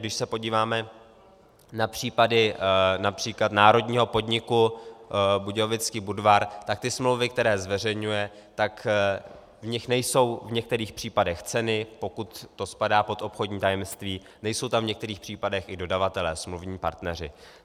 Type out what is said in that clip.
Když se podíváme na případy například národního podniku Budějovický Budvar, tak ty smlouvy, které zveřejňuje, tak v nich nejsou v některých případech ceny, pokud to spadá pod obchodní tajemství, nejsou tam v některých případech i dodavatelé, smluvní partneři.